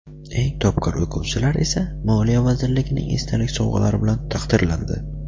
eng topqir o‘quvchilar esa Moliya vazirligining esdalik sovg‘alari bilan taqdirlandi.